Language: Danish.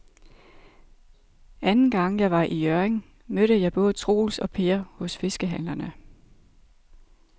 Anden gang jeg var i Hjørring, mødte jeg både Troels og Per hos fiskehandlerne.